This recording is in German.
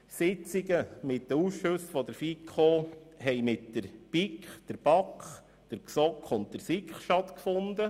Sitzungen der FiKo fanden denn mit der BiK, der BaK, der GSoK und der SiK statt.